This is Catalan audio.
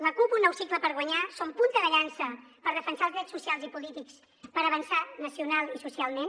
la cup un nou cicle per guanyar som punta de llança per defensar els drets socials i polítics per avançar nacional i socialment